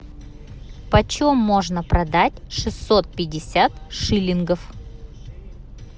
почем можно продать шестьсот пятьдесят шиллингов